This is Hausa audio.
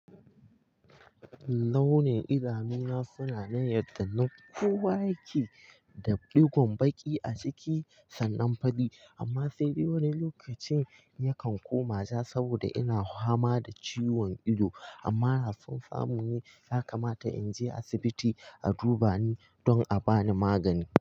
Launin idanu na suna nan yandan na kowa yake da digon baki a ciki sannan fari amma sai dai wani lokacin yakan koma ja saboda ina fama da ciwon ido amma da son samu ne yakamata in je asibiti a duba ni don a bani magani.